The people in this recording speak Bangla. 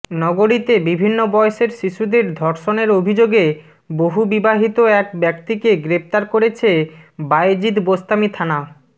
নগরীতে বিভিন্ন বয়সের শিশুদের ধর্ষণের অভিযোগে বহুবিবাহিত এক ব্যক্তিকে গ্রেফতার করেছে বায়েজিদ বোস্তামী থানা